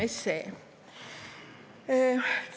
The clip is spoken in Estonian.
See on Vabariigi 23.